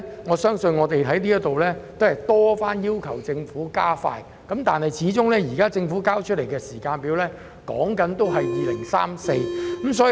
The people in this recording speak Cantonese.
我們過去已多番在此要求政府加快建設北環綫，但政府現時交出的時間表仍然是2034年。